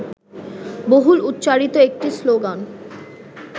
বহুল উচ্চারিত একটি শ্লোগান